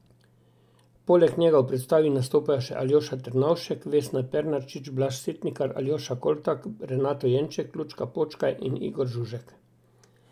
Poleg njega v predstavi nastopajo še Aljoša Ternovšek, Vesna Pernarčič, Blaž Setnikar, Aljoša Koltak, Renato Jenček, Lučka Počkaj in Igor Žužek.